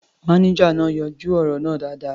Mánéjà náà yanjú ọ̀rọ̀ náà dáadáa.